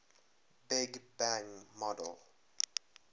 big bang model